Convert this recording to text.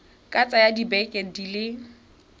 ka tsaya dibeke di le